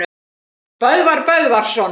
Böðvar Böðvarsson